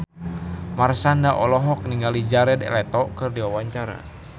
Marshanda olohok ningali Jared Leto keur diwawancara